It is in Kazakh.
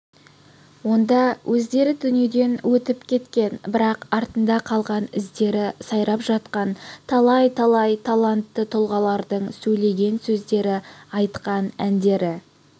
онда өздері дүниеден өтіп кеткен бірақ артында қалған іздері сайрап жатқан талай-талай талантты тұлғалардың сөйлеген сөздері айтқан әндері